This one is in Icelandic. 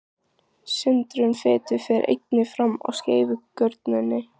Sundrun fitu fer einnig fram í skeifugörninni.